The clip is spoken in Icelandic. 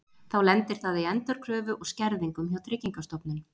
Þá lendir það í endurkröfu og skerðingum hjá Tryggingastofnun.